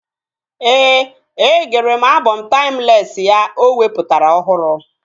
Ee, e gere m abọm taimlesị ya o wepụtara ọhụrụ